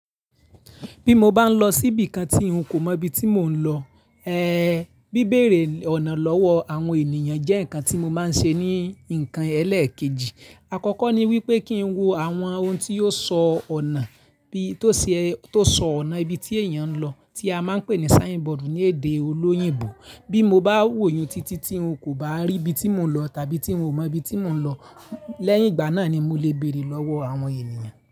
Bí mo bá ń lọ síbi kan tí n kò mọ ibi tí mò ń lọ, ẹẹ́, bíbére ọ̀nà lọ́wọ́ àwọn ènìyàn jẹ́ ǹkan tí mo máa ń ṣe ní ǹkan ẹlẹ́ẹ̀kejì. Àkọ́kọ́ ni wípé kín wo àwọn ohun tí ò sọ ọ̀nà bí tó ṣe, tó sọ ọ̀nà ibi tí èèyàn ń lọ, tí a máa ń pè ní sign board ní èdè olóyìnbo. Bí mo bá wò iyun títí tí ń kò bá rí ibi tí mò ń lọ tàbí tí un ò mọ ibi tí mò ń lọ, lẹ́yìn ìgbà náà ni mo lè bèèrè lọ́wọ́ àwọn ènìyàn.